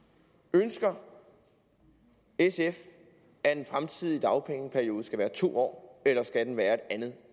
ønsker sf at den fremtidige dagpengeperiode skal være to år eller skal den være et andet